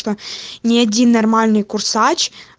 ни один нормальный курсач